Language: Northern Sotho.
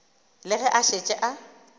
le ge a šetše a